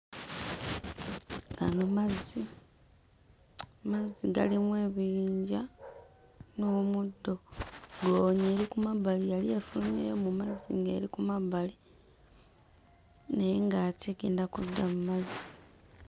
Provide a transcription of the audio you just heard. Gano mazzi, mazzi galimu ebiyinja n'omuddo goonya eri ku mabbali yali efulumyeyo mu mazzi ng'eri ku mabbali naye ng'ate egenda kudda mmazzi.